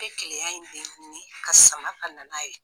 I bɛ keleya in denguni ka sama ka nana ye.